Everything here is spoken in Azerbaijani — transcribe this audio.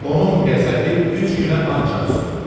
Onun qəzəbi üç günə ancaq soyudu.